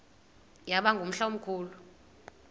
yaba ngumhla omkhulu